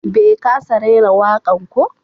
Bai ƙasa raira wakan ko?